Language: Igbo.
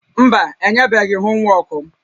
Mba, enyebeghị m homwọọkụ m